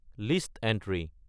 list entry